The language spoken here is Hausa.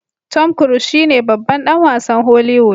Tom cruiese shine babban dan wasn holiwood